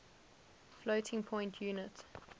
floating point unit